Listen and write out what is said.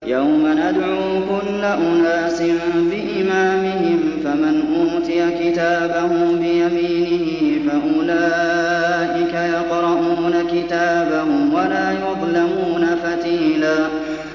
يَوْمَ نَدْعُو كُلَّ أُنَاسٍ بِإِمَامِهِمْ ۖ فَمَنْ أُوتِيَ كِتَابَهُ بِيَمِينِهِ فَأُولَٰئِكَ يَقْرَءُونَ كِتَابَهُمْ وَلَا يُظْلَمُونَ فَتِيلًا